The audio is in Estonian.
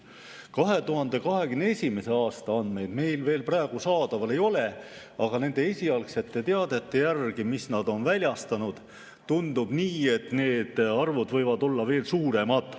2021. aasta andmeid meil veel praegu saadaval ei ole, aga nende esialgsete teadete järgi, mis nad on väljastanud, tundub nii, et need arvud võivad olla veel suuremad.